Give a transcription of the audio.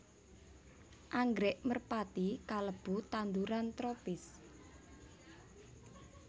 Anggrèk merpati kalebu tanduran tropis